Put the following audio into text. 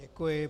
Děkuji.